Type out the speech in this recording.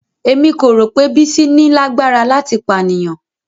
Emi ko ro pe Bisi ni lagbara lati paniyan.